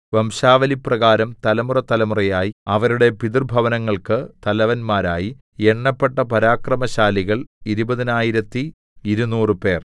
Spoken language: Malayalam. വംശാവലിപ്രകാരം തലമുറതലമുറയായി അവരുടെ പിതൃഭവനങ്ങൾക്ക് തലവന്മാരായി എണ്ണപ്പെട്ട പരാക്രമശാലികൾ ഇരുപതിനായിരത്തി ഇരുനൂറ് പേർ 20 200